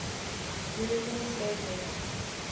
european slave merchants